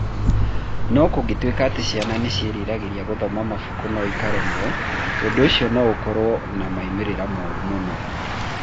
No kũngĩtuĩka atĩ ciana nĩ ciĩriragĩria gũthoma mabuku no ikaremwo, ũndũ ũcio no ũkorũo na moimĩrĩro moru mũno.